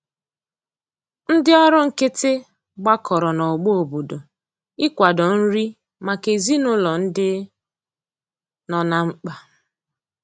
Ndi ọrụ nkiti gbakọrọ na ogbo obodo ị kwado nri maka ezinulo ndi nọ na mkpa